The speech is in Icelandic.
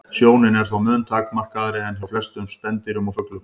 Sjónin er þó mun takmarkaðri en hjá flestum spendýrum og fuglum.